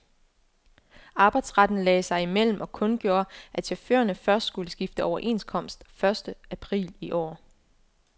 Arbejdsretten lagde sig imellem og kundgjorde, at chaufførerne først skulle skifte overenskomst første april i år.